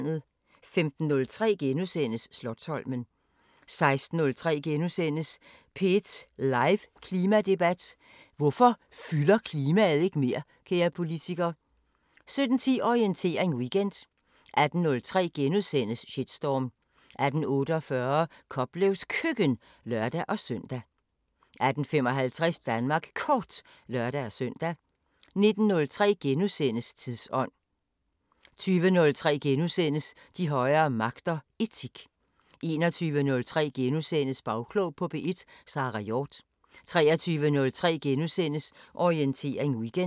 15:03: Slotsholmen * 16:03: P1 live Klimadebat: Hvorfor fylder klimaet ikke mere, kære politiker? * 17:10: Orientering Weekend 18:03: Shitstorm * 18:48: Koplevs Køkken (lør-søn) 18:55: Danmark Kort (lør-søn) 19:03: Tidsånd * 20:03: De højere magter: Etik * 21:03: Bagklog på P1: Sara Hjort * 23:03: Orientering Weekend *